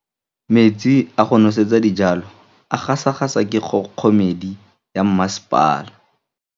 Metsi a go nosetsa dijalo a gasa gasa ke kgogomedi ya masepala.